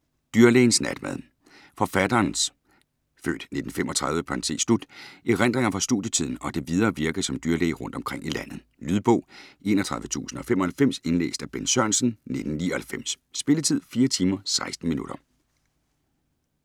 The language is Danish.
Jerver, Mogens: Dyrlægens natmad Forfatterens (f. 1935) erindringer fra studietiden og det videre virke som dyrlæge rundt omkring i landet. Lydbog 31095 Indlæst af Bent Sørensen, 1999. Spilletid: 4 timer, 16 minutter.